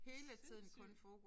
Det sindssygt